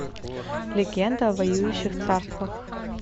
легенда о воюющих царствах